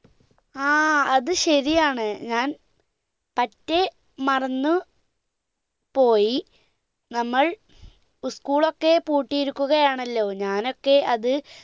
ആ അത് ശരിയാണ് ഞാൻ പറ്റെ മറന്നു പോയി നമ്മൾ school ഒക്കെ പൂട്ടിയിരിക്കുക ആണല്ലോ ഞാൻ ഒക്കെ അത്